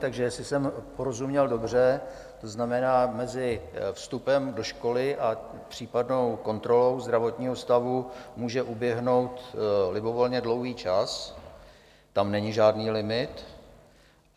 Takže jestli jsem porozuměl dobře, to znamená, mezi vstupem do školy a případnou kontrolou zdravotního stavu může uběhnout libovolně dlouhý čas, tam není žádný limit.